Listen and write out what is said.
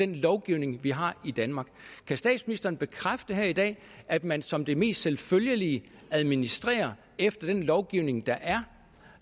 den lovgivning vi har i danmark kan statsministeren bekræfte her i dag at man som det mest selvfølgelige administrerer efter den lovgivning der er